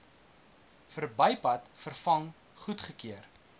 verbypad vervang goedgekeur